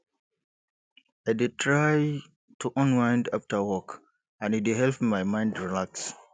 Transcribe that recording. i dey try to unwind after work and e dey help my mind relax